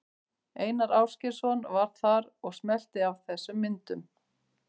Einar Ásgeirsson var þar og smellti af þessum myndum.